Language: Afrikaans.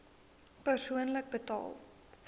persoonlik betaal